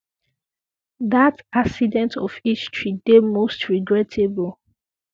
dat accident of history um dey most regrettable